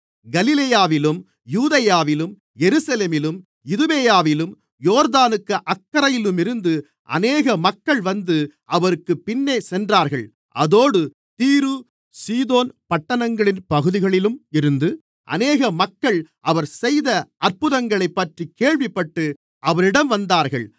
கலிலேயாவிலும் யூதேயாவிலும் எருசலேமிலும் இதுமேயாவிலும் யோர்தானுக்கு அக்கரையிலுமிருந்து அநேக மக்கள் வந்து அவருக்குப் பின்னே சென்றார்கள் அதோடு தீரு சீதோன் பட்டணங்களின் பகுதிகளிலும் இருந்து அநேக மக்கள் அவர் செய்த அற்புதங்களைப்பற்றிக் கேள்விப்பட்டு அவரிடம் வந்தார்கள்